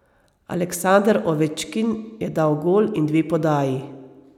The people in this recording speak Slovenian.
Aleksander Ovečkin je dal gol in dve podaji.